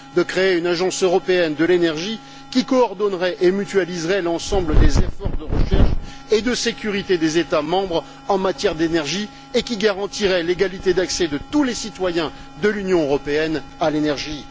de créer une Agence européenne de l'énergie qui coordonnerait et mutualiserait l'ensemble des efforts de recherche et de sécurité des États membres en matière d'énergie et qui garantirait l'égalité d'accès de tous les citoyens de l'Union européenne à l'énergie